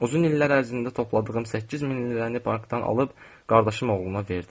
Uzun illər ərzində topladığım 8000 lirəni bankdan alıb qardaşım oğluna verdim.